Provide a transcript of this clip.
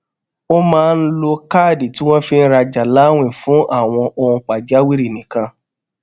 ó máa ń lo káàdì tí wón fi ń rajà láwìn fún àwọn ohun pàjáwìrì nìkan